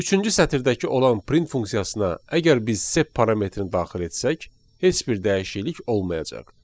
Üçüncü sətirdəki olan print funksiyasına əgər biz sep parametrini daxil etsək, heç bir dəyişiklik olmayacaq.